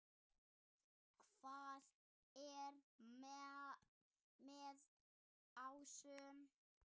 Hvað er með ásum?